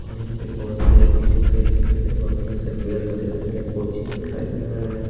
और यहां पे बहोत सारे बीच में पेड़ दिखाई दे रहा बहोत सरा पेड़ सा दिखाई दे रहा कोचिंग दिखाई दे रहा है।